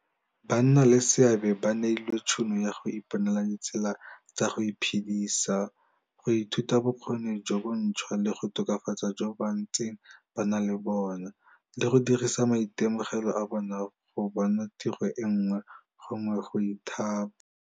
Banna leseabe ba neilwe tšhono ya go iponela ditsela tsa go iphedisa, go ithuta bokgoni jo bontšhwa le go tokafatsa jo ba ntseng ba na le bona, le go dirisa maitemogelo a bona go bona tiro e nngwe gongwe go ithapa.